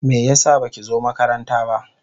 Me yasa baki zo makaranta ba?